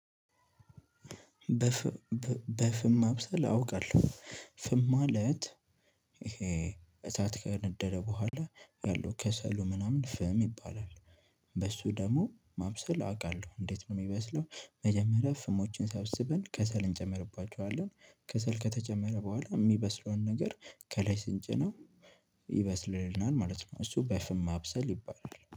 በፍም ማብሰል አውቃለሁ ፍም ማለት ይሄ እሳት ከነደደ በኋላ ያለው ከሰሉ ምናምን ፍም ይባላል። በሱ ደግሞ ማብሰል አውቃለሁ እንዴት ነው የሚበስለው? መጀመሪያ ፍሞችን ሰብስብን ከሰል እንጨምርባቸዋለን ከሰል ከተጨመረ በኋላ የሚበስለውን ነገር ከላይ ስንጭነው ይበስልልናል ማለት ነው። እሱ በፍም ማብሰል ይባላል